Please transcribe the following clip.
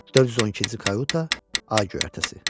412-ci Karta A göyərtəsi.